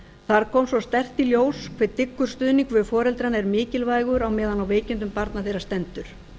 þar kom svo sterkt í ljós hve dyggur stuðningur við foreldrana er mikilvægur á meðan á veikindum barna þeirra stendur